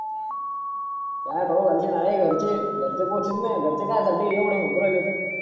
काय खाऊ घालशिन आहे घरचे घरचे पोसतील ना घरचे कशासाठी एवढे म्हणू राहिले तर